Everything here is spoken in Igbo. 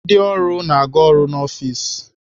Ndị ọrụ na-aga ọrụ n'ọfis.